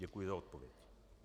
Děkuji za odpověď.